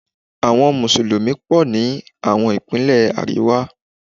Àwọn Mùsùlùmí pọ̀ ní àwọn ìpínlẹ̀ àríwá.